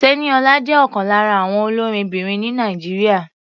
Tẹ́níọlá jẹ́ ọ̀kan lára àwọn olórinbìnrin ní Nàìjíríà.